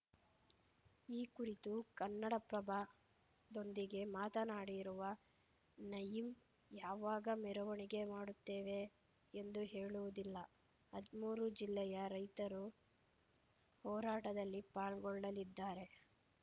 ಈ ಕುರಿತು ಕನ್ನಡಪ್ರಭದೊಂದಿಗೆ ಮಾತನಾಡಿರುವ ನಯಿಮ್‌ ಯಾವಾಗ ಮೆರವಣಿಗೆ ಮಾಡುತ್ತೇವೆ ಎಂದು ಹೇಳುವುದಿಲ್ಲ ಹದ್ಮೂರು ಜಿಲ್ಲೆಯ ರೈತರು ಹೋರಾಟದಲ್ಲಿ ಪಾಲ್ಗೊಳ್ಳಲಿದ್ದಾರೆ